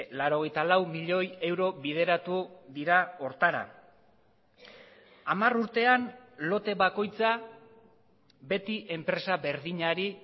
laurogeita lau milioi euro bideratu dira horretara hamar urtean lote bakoitza beti enpresa berdinari